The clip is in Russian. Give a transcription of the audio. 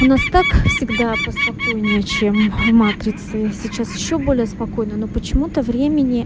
у нас так всегда поспокойнее чем в матрице сейчас ещё более спокойно но почему-то времени